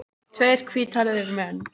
Tveir hvíthærðir menn.